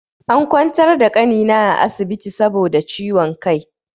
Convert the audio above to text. An ƙwantar da ƙanina a asibiti saboda ciwon ƙai.